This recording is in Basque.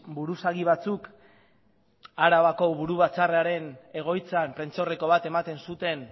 buruzagi batzuk arabako buru batzarraren egoitzan prentsaurreko bat ematen zuten